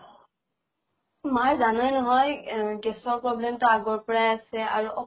মাৰ জান ৱে নহয় এ গেছৰ problem তো আগৰ পৰাই আছে আৰু ঔ